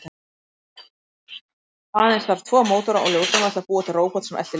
Aðeins þarf tvo mótora og ljósnema til að búa til róbot sem eltir ljós.